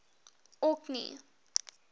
orkney